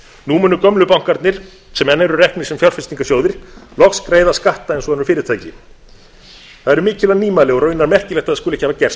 nú munu gömlu bankarnir sem enn eru reknir sem fjárfestingarsjóðir loks greiða skatta eins og önnur fyrirtæki það eru mikilvæg nýmæli og raunar merkilegt að það skuli ekki hafa gerst